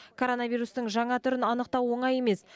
коронавирустың жаңа түрін анықтау оңай емес